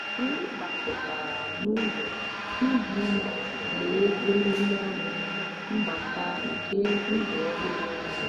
anyị gbakọtara n'ụlọ iji mee ememe ọnụ mbata nke ndụ ọhụrụ ọnụ.